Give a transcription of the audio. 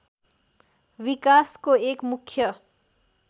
विकासको एक मुख्य